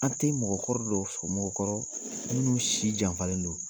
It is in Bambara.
An tɛ mɔgɔkɔrɔ dɔ sɔ mɔgɔkɔrɔ minnu si janfalen don.